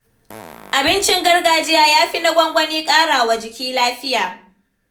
Abincin gargajiya ya fi na gwangwani ƙara wa jiki lafiya.